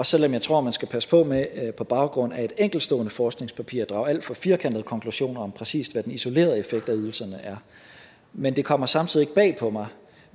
selv om jeg tror at man skal passe på med på baggrund af et enkeltstående forskningspapir at drage alt for firkantede konklusioner om præcis hvad den isolerede effekt af ydelserne er men det kommer samtidig